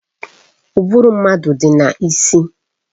Ụbụrụ mmadụ dị n'isi